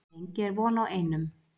Lengi er von á einum